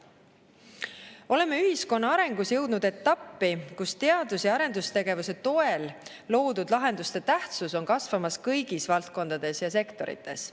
Oleme ühiskonna arengus jõudnud etappi, kus teadus‑ ja arendustegevuse toel loodud lahenduste tähtsus on kasvamas kõigis valdkondades ja sektorites.